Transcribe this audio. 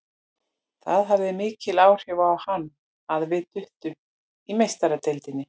Það hafði mikil áhrif á hann að við duttum út í Meistaradeildinni.